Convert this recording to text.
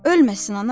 Ölməsin ana.